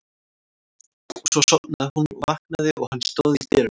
Og svo sofnaði hún og vaknaði og hann stóð í dyrunum.